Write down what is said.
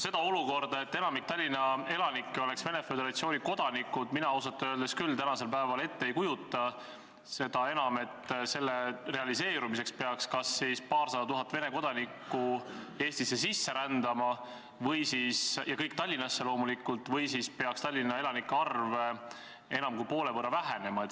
Seda olukorda, et enamik Tallinna elanikke oleks Vene Föderatsiooni kodanikud, mina ausalt öeldes küll tänasel päeval ette ei kujuta, seda enam, et selle realiseerumiseks peaks kas paarsada tuhat Vene kodanikku Eestisse sisse rändama – ja kõik Tallinnasse loomulikult – või siis peaks Tallinna elanike arv enam kui poole võrra vähenema.